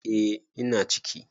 Eh ina ciki.